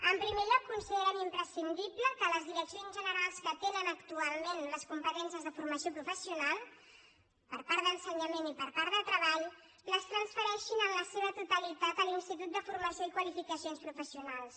en primer lloc considerem imprescindible que les direccions generals que tenen actualment les competències de formació professional per part d’ensenyament i per part de treball les transfereixin en la seva totalitat a l’institut de formació i qualificacions professionals